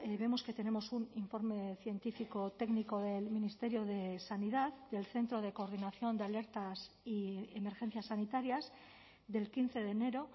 vemos que tenemos un informe científico técnico del ministerio de sanidad del centro de coordinación de alertas y emergencias sanitarias del quince de enero